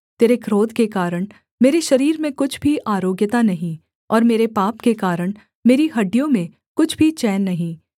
तेरे क्रोध के कारण मेरे शरीर में कुछ भी आरोग्यता नहीं और मेरे पाप के कारण मेरी हड्डियों में कुछ भी चैन नहीं